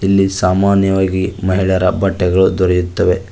ಇಲ್ಲಿ ಸಾಮಾನ್ಯವಾಗಿ ಮಹಿಳೆಯರ ಬಟ್ಟೆಗಳು ದೊರೆಯುತ್ತವೆ.